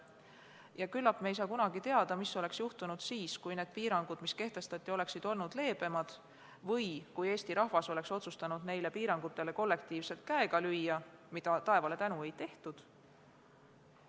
Tõenäoliselt ei saa me kunagi teada, mis oleks juhtunud siis, kui need piirangud, mis kehtestati, oleksid olnud leebemad või kui Eesti rahvas oleks otsustanud neile piirangutele kollektiivselt käega lüüa, mida, taevale tänu, ei tehtud.